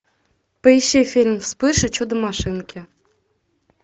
поищи фильм вспыш и чудо машинки